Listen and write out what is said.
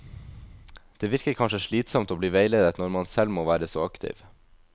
Det virker kanskje slitsomt å bli veiledet når man selv må være så aktiv.